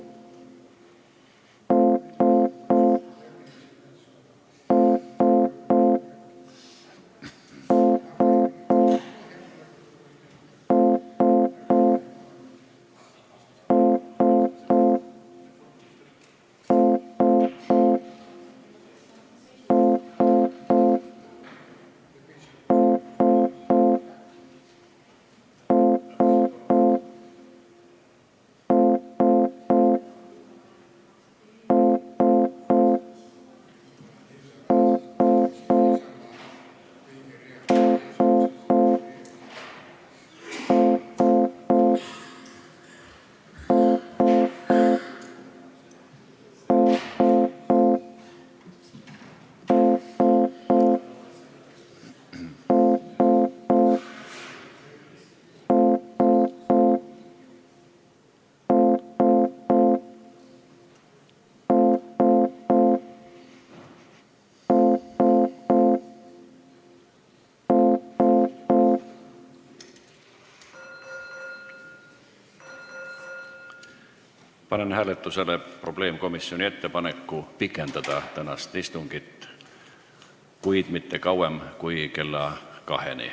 Panen hääletusele probleemkomisjoni ettepaneku pikendada tänast istungit, kuid mitte kauem kui kella kaheni.